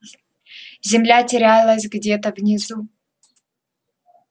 земля терялась где-то внизу